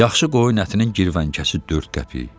Yaxşı qoyun ətinin girvənkəsi 4 qəpik.